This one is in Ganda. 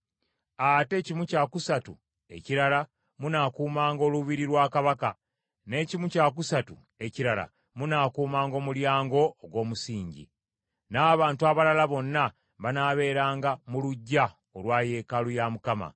ate kimu kya kusatu ekirala munaakuumanga olubiri lwa kabaka, n’ekimu kya kusatu ekirala munaakuumanga Omulyango ogw’Omusingi, n’abantu abalala bonna banaabeeranga mu luggya olwa yeekaalu ya Mukama .